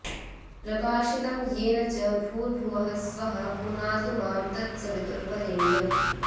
प्रकाशितं येन च भूर्भुवः स्वः पुनातु मां तत्सवितुर्वरेण्यम्